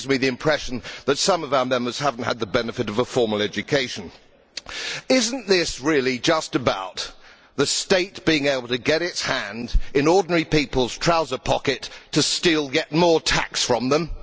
It gives me the impression that some of our Members have not had the benefit of a formal education. Isn't this really just about the state being able to get its hand in ordinary people's trouser pockets to steal yet more tax from them?